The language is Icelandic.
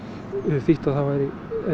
þýtt að það væri